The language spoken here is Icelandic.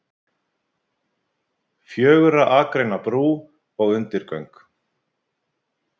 Fjögurra akreina brú og undirgöng